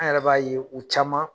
An yɛrɛ b'a ye u caman